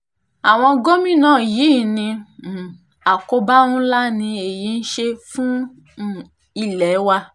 àwọn gómìnà yìí ní um àkóbá ńlá ni èyí ń ṣe fún um ilé wa